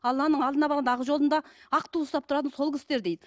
алланың алдына барғанда ақ жолында ақ ту ұстап тұратын сол кісілер дейді